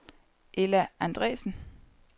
Ella Andresen